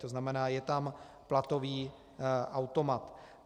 To znamená, je tam platový automat.